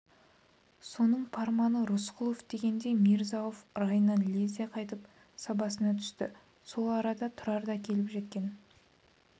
соның парманы рысқұлов дегенде мирза-ауф райынан лезде қайтып сабасына түсті сол арада тұрар да келіп жеткен